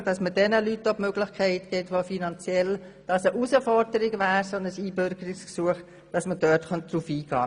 Es geht darum, jenen Leuten die Möglichkeit zu geben, für welche ein Einbürgerungsgesuch eine Herausforderung wäre, indem man auf deren finanzielle Situation eingeht.